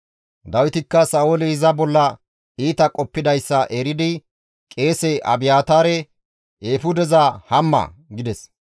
Dawitikka Sa7ooli iza bolla iita qoppidayssa eridi qeese Abiyaataare, «Eefudeza hamma» gides.